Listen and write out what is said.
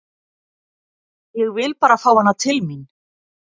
Ég vil bara fá hana til mín.